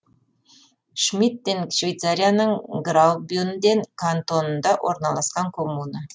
шмиттен швейцарияның граубюнден кантонында орналасқан коммуна